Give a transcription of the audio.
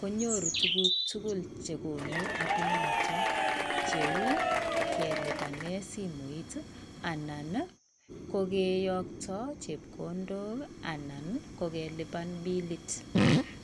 kokonu tuguk tugul chekonu apit noton kou kelipanen simoit anan ii kokeyokto chepkondok anan kokelipan pilit.